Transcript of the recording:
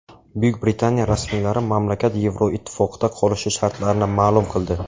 Buyuk Britaniya rasmiylari mamlakat Yevroittifoqda qolishi shartlarini ma’lum qildi.